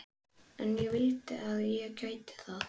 En ég vildi að ég gæti það.